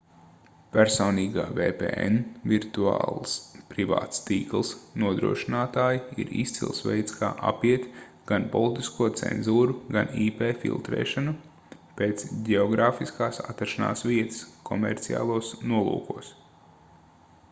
personīgā vpn virtuāls privāts tīkls nodrošinātāji ir izcils veids kā apiet gan politisko cenzūru gan ip filtrēšanu pēc ģeogrāfiskās atrašanās vietas komerciālos nolūkos